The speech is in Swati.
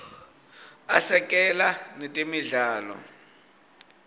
asekela netemidlalo